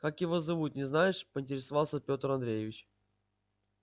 как его зовут не знаешь поинтересовался пётр андреевич